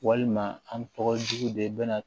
Walima an tɔgɔ jugu de bɛ na